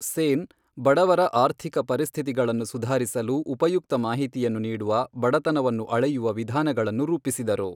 ಸೇನ್, ಬಡವರ ಆರ್ಥಿಕ ಪರಿಸ್ಥಿತಿಗಳನ್ನು ಸುಧಾರಿಸಲು ಉಪಯುಕ್ತ ಮಾಹಿತಿಯನ್ನು ನೀಡುವ ಬಡತನವನ್ನು ಅಳೆಯುವ ವಿಧಾನಗಳನ್ನು ರೂಪಿಸಿದರು.